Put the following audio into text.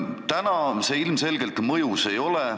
Täna see ilmselgelt mõjus ei ole.